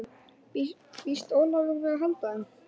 Býst Ólafur við að halda þeim?